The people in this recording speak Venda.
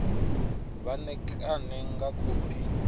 vha ṋekane nga khophi yo